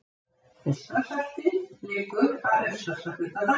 Eystrasaltið liggur að austasta hluta Danmerkur.